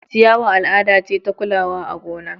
ciyawa al'ada ce ta kulawa a gona